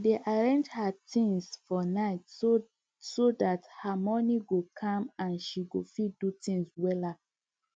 she dey arrange her things for night so that her morning go calm and she go fit do things wella